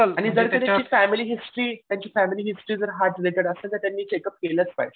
आणि जर का त्यांची फॅमिली हिस्ट्री त्यांची फॅमिली हिस्ट्री जर हार्ट रिलेटेड असेल तर त्यांनी चेकअप केलंच पाहिजे.